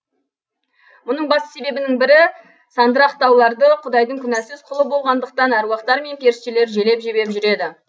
мұның басты себебінің бірі сандықтаулықтарды құдайдың күнәсіз құлы болғандықтан әруақтар мен періштерлер желеп жебеп жүреді